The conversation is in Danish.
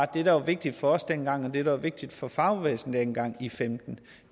det der var vigtigt for os dengang og det der var vigtigt for fagbevægelsen dengang i femten